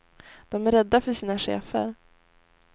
De är rädda för sina chefer.